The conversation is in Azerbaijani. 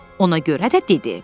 Ona görə də dedi: